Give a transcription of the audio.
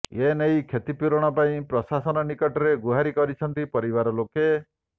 ଏ ନେଇ କ୍ଷତିପୂରଣ ପାଇଁ ପ୍ରଶାସନ ନିକଟରେ ଗୁହାରୀ କରିଛନ୍ତି ପରିବାର ଲୋକେ